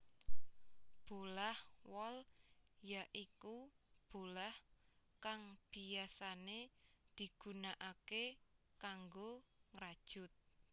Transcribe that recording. Bolah wol ya iku bolah kang biyasané digunakaké kanggo ngrajut